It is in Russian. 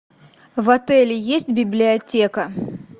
в отеле есть библиотека